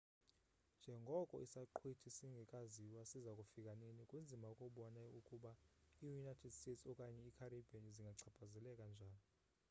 njengoko isaqhwithi singekaziwa siza kufika nini kunzima ukubona ukuba i-united states okanye i-caribbean zingachaphazeleka njani